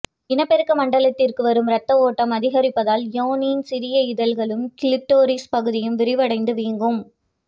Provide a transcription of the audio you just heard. இனப்பெருக்க மண்டலத்திற்கு வரும் இரத்த ஓட்டம் அதிகரிப்பதால் யோனியின் சிறிய இதழ்களும் கிளிட்டோரிஸ் பகுதியும் விரிவடைந்து வீங்கும்